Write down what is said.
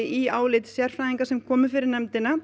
í álit sérfræðinga sem komu fyrir nefndina